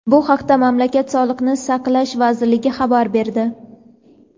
Bu haqda mamlakat Sog‘liqni saqlash vazirligi xabar berdi.